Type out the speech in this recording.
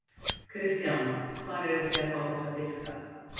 Kristján: Hvar eruð þið að fá þessa fiska?